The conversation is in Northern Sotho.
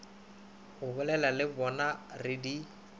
abolela le bonaa re di